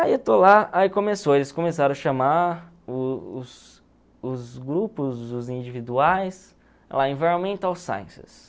Aí eu estou lá, aí começou, eles começaram a chamar o os os grupos, os individuais, lá, Environmental Sciences.